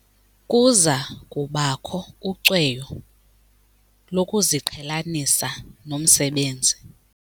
Kuza kubakho ucweyo lokuziqhelanisa nomsebenzi.